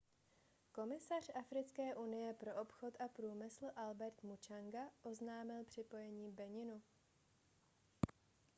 komisař africké unie pro obchod a průmysl albert muchanga oznámil připojení beninu